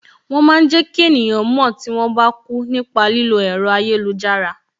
Wọn máa ń jẹ ki eniyan mo tí wọn bá kú nípa lílo ẹ̀rọ ayélujára